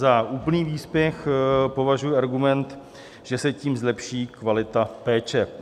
Za úplný výsměch považuji argument, že se tím zlepší kvalita péče.